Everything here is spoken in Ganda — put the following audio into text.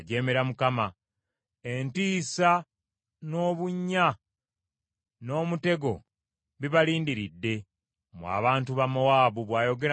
Entiisa n’obunnya n’omutego bibalindiridde, mmwe abantu ba Mowaabu,” bw’ayogera Mukama Katonda.